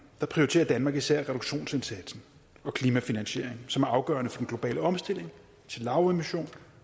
prioriterer danmark især reduktionsindsatsen og klimafinansieringen som er afgørende for den globale omstilling til lavemission